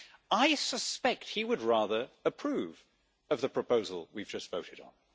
I suspect he would rather approve of the proposal we have just voted on.